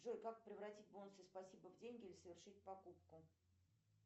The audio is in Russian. джой как превратить бонусы спасибо в деньги или совершить покупку